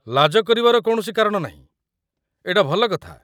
ଲାଜ କରିବାର କୌଣସି କାରଣ ନାହିଁ, ଏଇଟା ଭଲ କଥା ।